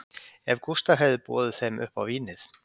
Ef Gústaf hefði boðið þeim upp á vínið